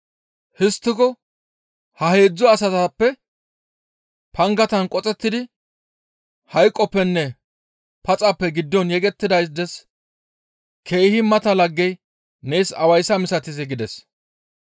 «Histtiko ha heedzdzu asatappe pangatan qoxettidi hayqoppenne paxappe giddon yegettidaades keehi mata laggey nees awayssa misatizee?» gides.